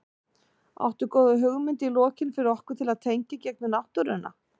Áttu góða hugmynd í lokin fyrir okkur til að tengja í gegnum náttúruna?